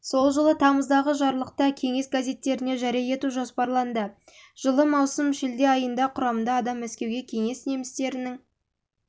жылы тамыздағы жарлықта кеңес газеттеріне жария ету жоспарланды жылы маусым-шілде айында құрамында адам мәскеуге кеңес немістерінің